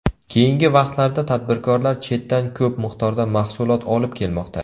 Keyingi vaqtlarda tadbirkorlar chetdan ko‘p miqdorda mahsulot olib kelmoqda.